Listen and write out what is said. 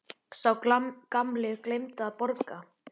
Sá gamli gleymdi að borga.